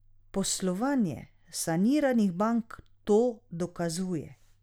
Poslovanje saniranih bank to dokazuje.